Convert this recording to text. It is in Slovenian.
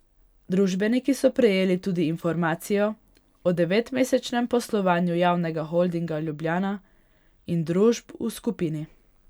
Družbeniki so prejeli tudi informacijo o devetmesečnem poslovanju Javnega holdinga Ljubljana in družb v skupini.